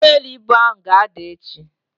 ugboelu ibu ahu ga-ada echi.